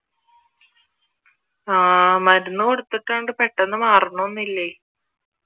ആഹ് മരുന്ന് കൊടുത്തിട്ടുണ്ട് പെട്ടെന്ന് മാറണോന്ന് ഇല്ലേ